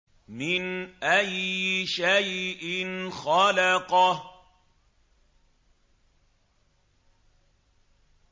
مِنْ أَيِّ شَيْءٍ خَلَقَهُ